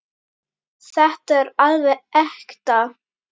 Þetta er alveg ekta.